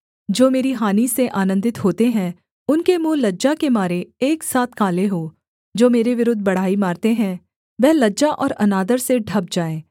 जो मेरी हानि से आनन्दित होते हैं उनके मुँह लज्जा के मारे एक साथ काले हों जो मेरे विरुद्ध बड़ाई मारते हैं वह लज्जा और अनादर से ढँप जाएँ